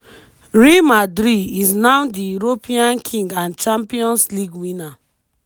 real madrid is now di european king and champions league winner.